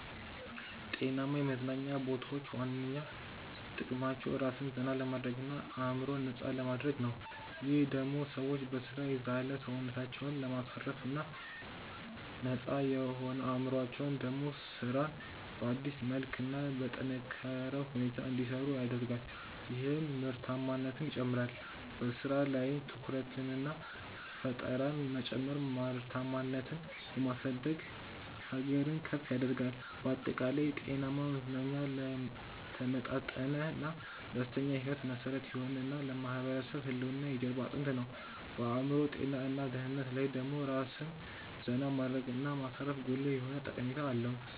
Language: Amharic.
ጤናማ የመዝናኛ ቦታዎች ዋነኛ ጥቅማቸው ራስን ዘና ለማድረግ እና አዕምሮን ነፃ ለማድረግ ነው። ይህም ደሞ ሰዎች በሥራ የዛለ ሰውነታቸውን ለማሳረፍ እና ነፃ የሆነው አዕምሮአቸው ደሞ ስራን በአዲስ መልክ እና በጠነካረ ሁኔታ እንዲሰሩ ያደርጋል ይህም ምርታማነትን ይጨምራል። በሥራ ላይም ትኩረትንና ፈጠራን መጨመር ምርታማነትን የማሳደግ ሀገርን ከፍ ያደርጋል። ባጠቃላይ፣ ጤናማ መዝናኛ ለተመጣጠነና ደስተኛ ሕይወት መሠረት የሆነ እና ለማህበረሰብ ህልውና የጀርባ አጥንት ነው። በአዕምሮ ጤና እና ደህንነት ላይ ደሞ ራስን ዜና ማድረግ እና ማሳረፉ ጉልህ የሆነ ጠቀሜታ አለው።